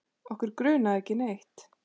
Okkur grunaði ekki neitt.